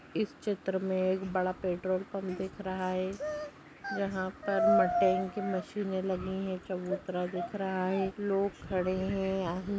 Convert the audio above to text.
इस चित्र मे एक बड़ा पेट्रोल पम्प दिख रहा है यहा पर की मशिने लगी है चबूतरा दिख रहा है खड़े है यहा --